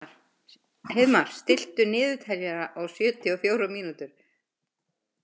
Heiðmar, stilltu niðurteljara á sjötíu og fjórar mínútur.